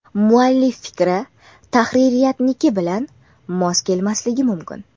Muallif fikri tahririyatniki bilan mos kelmasligi mumkin.